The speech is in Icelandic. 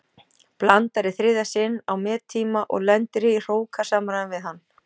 Blandar í þriðja sinn á mettíma og lendir í hrókasamræðum við hann.